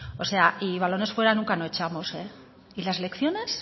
o sea y balones fuera nunca no echamos eh y las lecciones